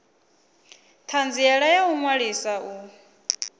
thanziela ya u ṅwalisa u